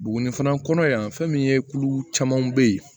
Buguni fana kɔnɔ yan fɛn min ye kulu caman bɛ yen